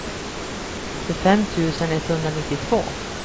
tjugofem tusen etthundranittiotvå